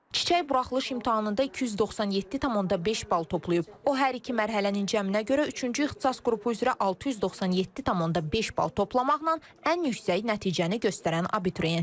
Çiçək buraxılış imtahanında 297,5 bal toplayıb, o hər iki mərhələnin cəminə görə üçüncü ixtisas qrupu üzrə 697,5 bal toplamaqla ən yüksək nəticəni göstərən abituriyentdir.